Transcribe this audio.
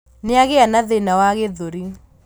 Nĩagĩa thĩna wa gĩthũri